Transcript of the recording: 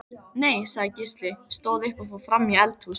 Nei, sagði Gísli, stóð upp og fór fram í eldhús.